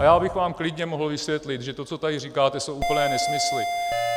A já bych vám klidně mohl vysvětlit, že to, co tady říkáte, jsou úplné nesmysly.